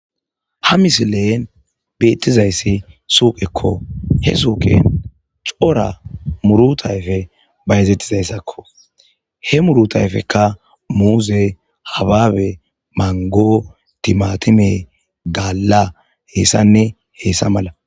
Ha misilen beettizayssi suuqekko he suuqin cora murutayfe ba yezettizayssakko he murutayfekka muuze habaabe mango timatime gaalla heessanne heessa mala